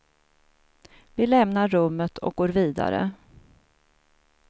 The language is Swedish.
Vi lämnar rummet och går vidare.